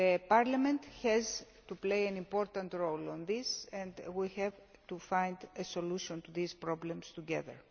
Parliament has to play an important role on this and we have to find a solution to these problems together.